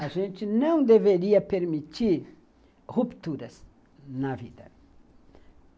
A gente não deveria permitir rupturas na vida.